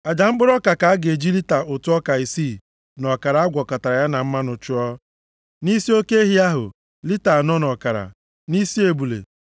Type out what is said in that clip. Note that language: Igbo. Aja mkpụrụ ọka ka a ga-eji lita ụtụ ọka isii na ọkara a gwakọtara ya na mmanụ chụọ, nʼisi oke ehi ahụ, lita anọ na ọkara, nʼisi ebule,